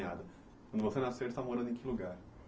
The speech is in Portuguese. Você nasceu e está morando em que lugar?